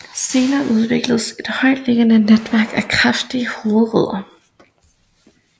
Senere udvikles et højtliggende netværk af kraftige hovedrødder